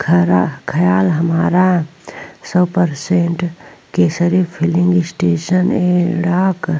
खरा ख़याल हमारा सौ परसेंट केसरी फिलिंग स्टेशन एड़ाक --